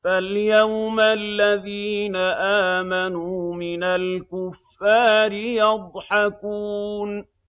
فَالْيَوْمَ الَّذِينَ آمَنُوا مِنَ الْكُفَّارِ يَضْحَكُونَ